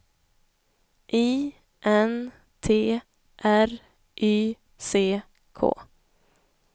I N T R Y C K